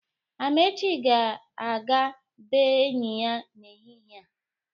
Amechi ga-aga bee enyi ya n'ehịhịe a.